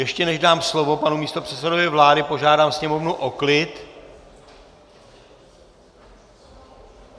Ještě než dám slovo panu místopředsedovi vlády, požádám sněmovnu o klid.